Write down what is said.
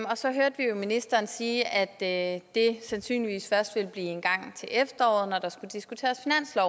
og så hørte vi jo ministeren sige at det sandsynligvis først vil blive engang til efteråret når der skal diskuteres